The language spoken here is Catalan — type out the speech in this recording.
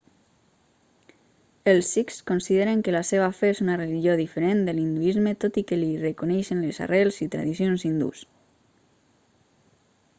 els sikhs consideren que la seva fe és una religió diferent de l'hinduisme tot i que li reconeixen les arrels i tradicions hindús